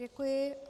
Děkuji.